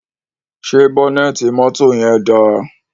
Ṣé bọ́nẹ́ẹ́tì mọ́tò yẹn dáa?